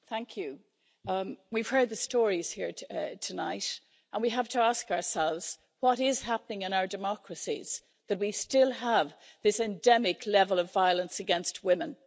Mr President, we've heard the stories here tonight and we have to ask ourselves what is happening in our democracies that we still have this endemic level of violence against women.